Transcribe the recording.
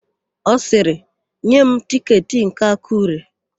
Ọ sịrị, "nye m tịketị nke Akụre"!